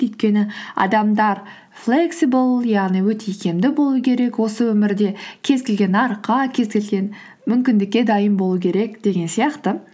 өйткені адамдар флексибл яғни өте икемді болу керек осы өмірде кез келген нарыққа кез келген мүмкіндікке дайын болу керек деген сияқты